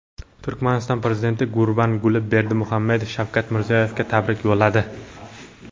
Turkmaniston prezidenti Gurbanguli Berdimuhammedov Shavkat Mirziyoyevga tabrik yo‘lladi.